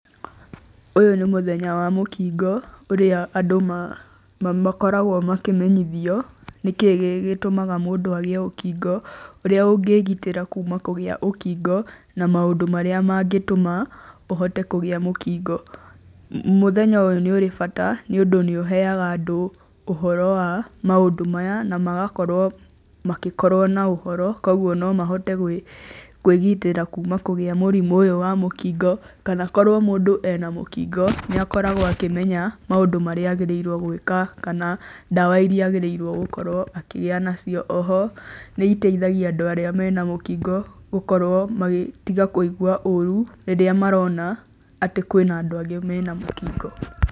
Ũyũ nĩ mũthenya wa mũkingo ũrĩa andũ makoragwo makĩmenyithio nĩkĩĩ gĩtũmaga mũndũ agĩe ũkingo, ũrĩa ũngĩgitĩra kuma kũgĩa ũkingo, na maũndũ marĩa mangĩtũma ũhote kũgĩa mũkingo. Mũthenya ũyũ nĩ ũrĩ bata, nĩũndũ nĩũheaga andũ ũhoro wa maũndũ maya, na magakorwo makĩkorwo na ũhoro koguo no mahote kwĩgitĩra kuma kũgĩa mũrimũ ũyũ wa mũkingo, kana korwo mũndũ ena mũkingo nĩakoragwo akĩmenya maũndũ marĩa agĩrĩirwo nĩ gwĩka, kana dawa iria agĩrĩirwo gũkorwo akĩgĩa nacio. Oho nĩiteithagia andu arĩa mena mũkingo gũkorwo magĩtiga kũigua ũũru rĩrĩa marona atĩ kwĩna andũ angĩ mena mũkingo.